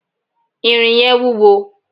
irin yẹn wúwo